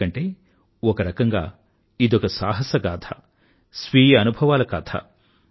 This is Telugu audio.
ఎందుకంటే ఒకరకంగా ఇదొక సాహసగాథ స్వీయ అనుభవాల కథ